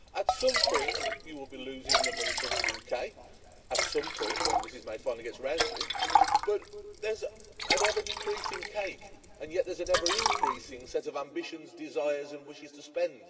At some point you will be losing the money from the UK at some point when Ms May finally gets around to it but there's an ever decreasing cake, and yet there is an ever increasing sense of ambitions, desires and wishes to spend.